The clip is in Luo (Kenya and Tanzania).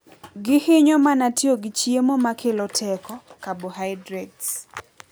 Gihinyo mana tiyo gi chiemo makelo teko(carbohydrates).